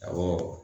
Awɔ